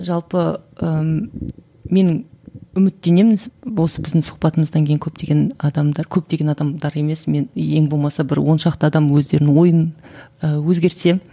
жалпы ііі мен үміттенемін осы біздің сұхбатымыздан кейін көптеген адамдар көптеген адамдар емес мен ең болмаса бір оншақты адам өздерінің ойын ы өзгертсе